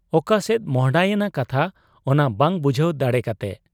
ᱚᱠᱟᱥᱮᱫ ᱢᱚᱸᱦᱰᱟᱭᱮᱱᱟ ᱠᱟᱛᱷᱟ, ᱚᱱᱟ ᱵᱟᱝ ᱵᱩᱡᱷᱟᱹᱣ ᱫᱟᱲᱮ ᱠᱟᱛᱮ ᱾